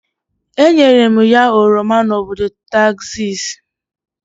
A nyere m ya oroma na obodo Tekzaksi.